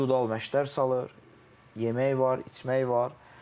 İndividual məşqlər salır, yemək var, içmək var.